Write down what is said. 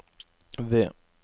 V